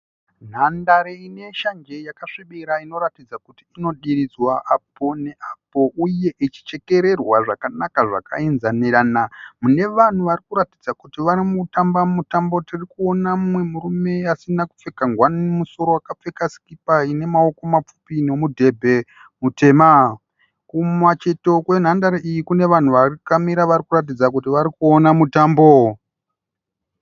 Nhandare ine shanje yakasvibira inoratidza kuti inodiridzwa apo ne apo uye ichichekererwa zvakanaka zvaka enzanirana. Mune vanhu varikuratidza kuti varikutamba mutambo. Tirikuona mumwe murume asina kupfeka nguwani mumusoro akapfeka sikipa ine maoko mapfupi nemudhebhe mutema. Kumacheto kwenhandare iyi Kune vanhu vakamira varikuratidza kuti vari kuona mutambo.